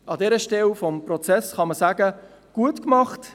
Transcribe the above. An dieser Stelle des Prozesses kann man sagen: «Gut gemacht!